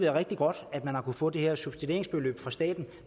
rigtig godt at man har kunnet få det her subsidieringsbeløb fra staten